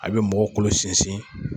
A bi mɔgɔ kolo sinsin